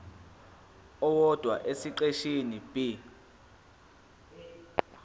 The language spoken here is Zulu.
owodwa esiqeshini b